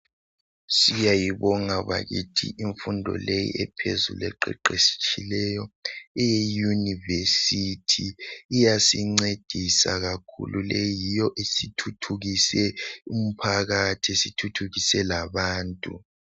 Siyayibonga bakithi imfundo leyi ephezulu eqeqetshileyo eyeuniversity iyasincedisa kakhulu leyi yiyo esithuthukise umphakathi esithuthukise labantu